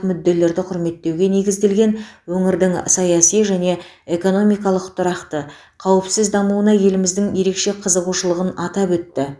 мүдделерді құрметтеуге негізделген өңірдің саяси және экономикалық тұрақты қауіпсіз дамуына еліміздің ерекше қызығушылығын атап өтті